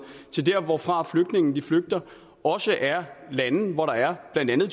til der hvorfra flygtningene flygter også er lande hvor der blandt andet